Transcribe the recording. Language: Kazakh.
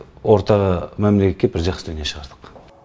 орта мәмілеге кеп бір жақсы дүние шығардық